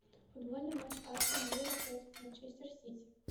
футбольный матч астон вилла против манчестер сити